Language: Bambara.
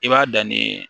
I b'a dan nin